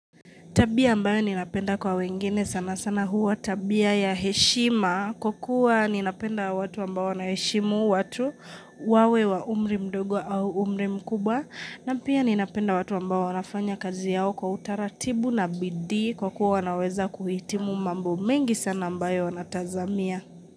Tabia ambayo ninapenda kwa wengine sana sana huwa tabia ya heshima kukua ninapenda watu ambao wanaheshimu watu wawe wa umri mdogo au umri mkubwa na pia ninapenda watu ambao wanafanya kazi yao kwa utaratibu na bidii kwa kua wanaweza kuhitimu mambo mengi sana ambayo wanatazamia.